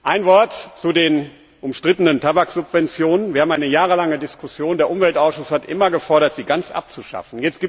Ein Wort zu den umstrittenen Tabaksubventionen, über die wir jahrelang diskutiert haben Der Umweltausschuss hat immer gefordert, sie ganz abzuschaffen.